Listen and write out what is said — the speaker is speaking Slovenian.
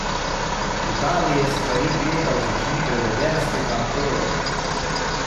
V Italiji je stvari gledal z očmi belvederskega Apolona.